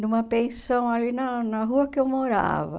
numa pensão ali na na rua que eu morava.